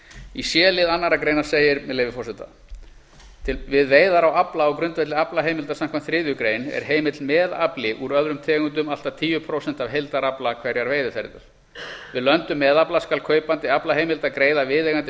í c lið annarrar greinar segir með leyfi forseta c við veiðar á afla á grundvelli aflaheimilda samkvæmt þriðju grein er heimill meðafli úr öðrum tegundum allt að tíu prósent af heildarafla hverrar veiðiferðar við löndun meðafla skal kaupandi aflaheimilda greiða viðeigandi